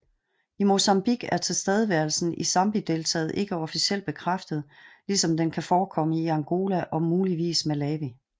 I Mozambique er tilstedeværelsen i Zambezideltaet ikke officielt bekræftet ligesom den kan forekomme i Angola og muligvis Malawi